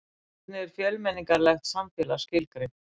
Hvernig er fjölmenningarlegt samfélag skilgreint?